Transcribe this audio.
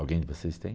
Alguém de vocês tem?